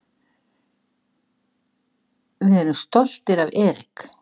Við erum stoltir af Eric.